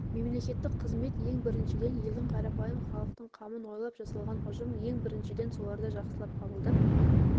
мемлекеттік қызмет ең біріншіден елдің қарапайым халықтың қамын ойлап жасалған ұжым ең біріншіден соларды жақсылап қабылдап